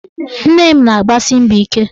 Nne m na-agbasi mbọ ike